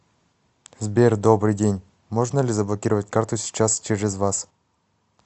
сбер добрый день можно ли заблокировать карту сейчас через вас